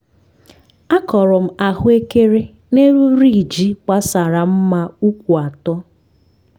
akọrọ m ahụekere n'elu riiji gbasara mma ụkwụ atọ